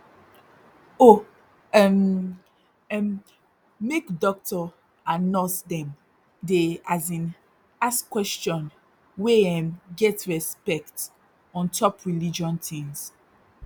oh um erm make dokto and nurse dem dey as in ask question wey um get respect ontop religion tins